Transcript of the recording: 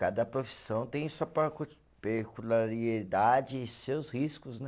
Cada profissão tem sua parcu, e seus riscos, né?